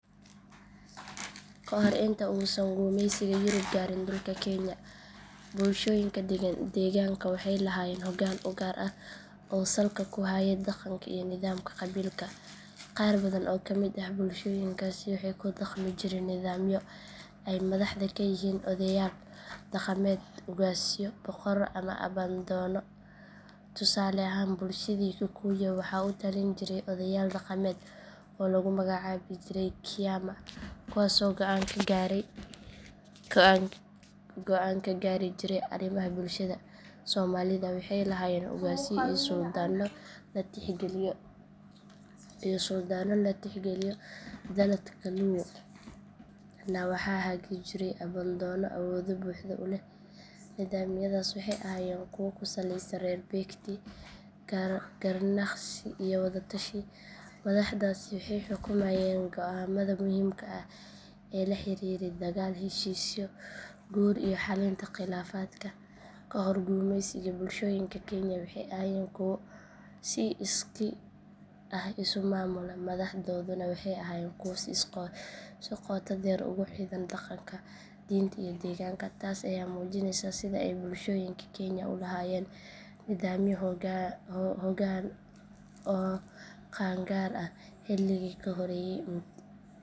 Ka hor intii uusan gumeysiga yurub gaarin dhulka kenya, bulshooyinka deegaanka waxay lahaayeen hoggaan u gaar ah oo salka ku hayay dhaqanka iyo nidaamka qabiilka. Qaar badan oo ka mid ah bulshooyinkaasi waxay ku dhaqmi jireen nidaamyo ay madaxda ka yihiin odeyaal dhaqameed, ugaasyo, boqorro ama abbaandoonno. Tusaale ahaan bulshadii kikuyu waxaa u talin jiray odeyaal dhaqameed oo lagu magacaabi jiray kiama kuwaasoo go’aan ka gaari jiray arrimaha bulshada. Soomaalida waxay lahaayeen ugaasyo iyo suldaanno la tixgeliyo. Dhaladka luo-na waxaa hagi jiray abbaandoonno awood buuxda u leh. Nidaamyadaasi waxay ahaayeen kuwo ku salaysan xeer beegti, garnaqsi, iyo wada tashi. Madaxdaasi waxay xukumayeen go’aamada muhiimka ah ee la xiriiray dagaal, heshiisyo, guur iyo xallinta khilaafaadka. Ka hor gumeysiga, bulshooyinka kenya waxay ahaayeen kuwo si iskii ah isu maamula, madaxdooduna waxay ahaayeen kuwo si qoto dheer ugu xidhan dhaqanka, diinta iyo deegaanka. Taas ayaa muujinaysa sida ay bulshooyinka kenya u lahaayeen nidaamyo hoggaan oo qaan gaar ah xilligii ka horreeyay